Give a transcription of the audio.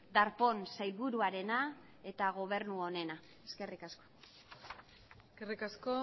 darpón sailburuarena eta gobernu honena eskerrik asko eskerrik asko